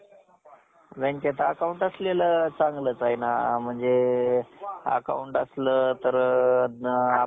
कळीचं फुल होणं. त्यावर येणारे तेज पाहणं. त्यावर रुंदी घालणारे भ्रमर बघून समाधान वाटतं. आपल्या मुलांच्या भोवती भोवती फिरणारी सून पाहून, सुखावून जातं. तसच,